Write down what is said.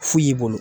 Fu y'i bolo